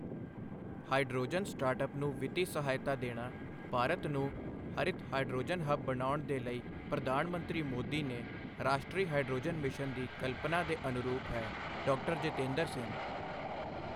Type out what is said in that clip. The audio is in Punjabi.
ਹਾਈਡ੍ਰੋਜਨ ਸਟਾਰਟਐੱਪ ਨੂੰ ਵਿੱਤੀ ਸਹਾਇਤਾ ਦੇਣਾ ਭਾਰਤ ਨੂੰ ਹਰਿਤ ਹਾਈਡ੍ਰੋਜਨ ਹਬ ਬਣਾਉਣ ਦੇ ਲਈ ਪ੍ਰਧਾਨ ਮੰਤਰੀ ਮੋਦੀ ਨੇ ਰਾਸ਼ਟਰੀ ਹਾਈਡ੍ਰੋਜਨ ਮਿਸ਼ਨ ਦੀ ਕਲਪਨਾ ਦੇ ਅਨੁਰੂਪ ਹੈ ਡਾ. ਜਿਤੇਂਦਰ ਸਿੰਘ